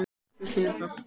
Við finnum það.